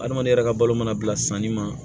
Adamaden yɛrɛ ka balo mana bila sanni ma